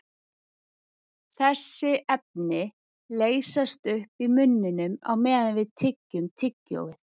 Þessi efni leysast upp í munninum á meðan við tyggjum tyggjóið.